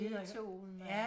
Beethoven og